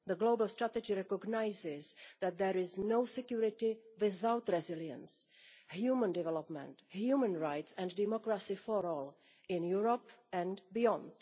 The global strategy recognises that there is no security without resilience, human development, human rights and democracy for all, in Europe and beyond.